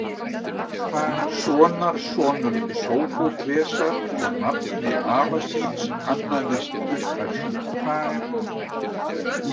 Sonarsonur Sófóklesar og nafni afa síns annaðist uppfærsluna.